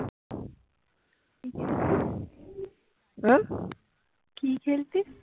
কি খেলতিস